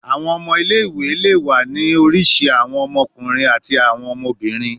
Awọn ọmọ ile-iwe le wa ni irisi awọn ọmọkunrin ati awọn ọmọbirin